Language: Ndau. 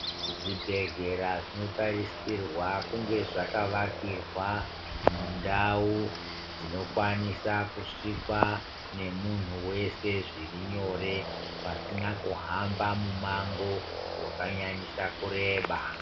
Zvibhedhlera zvinotarisirwa kunga zvakavakirwa mundau dzinokwanisa kusvikwa nomunhu wese zviri nyore pasina kuhamba mumango wakanyanyisa kureba.